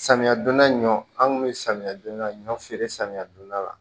Samiya donda ɲɔ an kun bɛ samiya donda ɲɔ feere samiya donda la